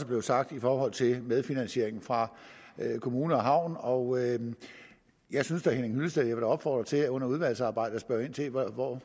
blevet sagt i forhold til medfinansieringen fra kommune og havn og jeg vil da opfordre til under udvalgsarbejdet at spørge ind til hvor